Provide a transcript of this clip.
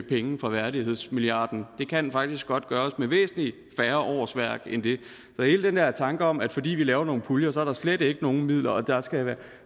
penge fra værdighedsmilliarden det kan faktisk godt gøres med væsentlig færre årsværk end det så hele den der tanke om at fordi vi laver nogle puljer er der slet ikke nogen midler og at der skal